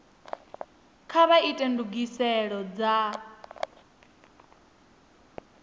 kha vha ite ndugiselo dza